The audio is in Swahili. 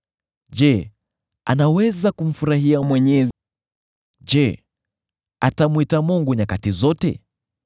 Je, anaweza kumfurahia Mwenyezi? Je, atamwita Mungu nyakati zote?